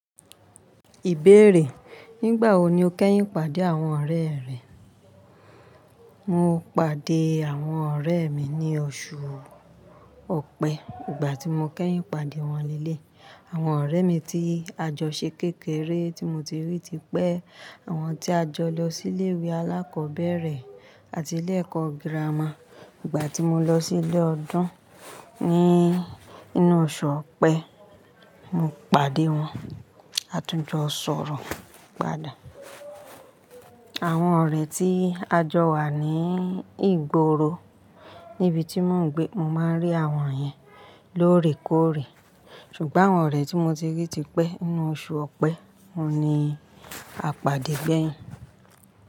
Ìbéèrè: Nígbà wo ni o kẹ́yìn pàdé àwọn ọ̀rẹ́ rẹ? Mo pàdé àwọn ọ̀rẹ́ mi ní oṣù Ọ̀pẹ. Ìgbà tí mo kẹ́yìn pàdé wọn léléyi. Àwọn ọ̀rẹ́ mi tí a jọ ṣe kékeré tí mo ti rí tipẹ́. Àwọn tí a jọ lọ sí ilé ìwé alákọ̀ọ́bẹ̀rẹ̀ àti ilé ẹ̀kọ́ gírámà. Ìgbà tí mo lọ sí ilé ọdún ní inú oṣù Ọ̀pẹ, mo pàdé wọn. Atúnjọ sọ̀rọ̀, pádà. Àwọn ọ̀rẹ́ tí a jọ wà ní ìgboro níbi tí mò ń gbé, mo máa ń rí àwọn yẹn lóòrè kóòrè. Ṣùgbọ́n àwọn ọ̀rẹ́ tí mo ti rí ti pẹ́ nínú oṣù Ọ̀pẹ, òhun ní à pàdé gbẹ̀yìn.